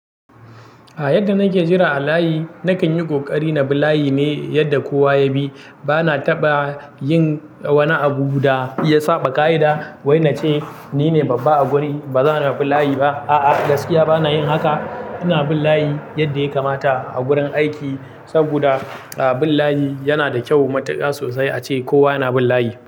A yadda nake jira a layi na kan yi kokari nabi layi ne yadda kowa ya bi bana taɓa yin wani abu da ya saɓa ka'ida, wai na ce ni ne babba a guri, ba zan bi layi ba. A'a, gaskiya bana yin haka. Ina bin layi yadda ya kamata a gurin aiki saboda bin layi yana da kyau matuƙa sosai a ce kowa yana bin layi.